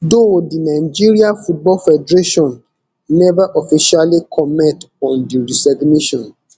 though di nigeria football federation neva officially comment on di resignation